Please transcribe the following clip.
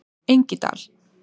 Engidal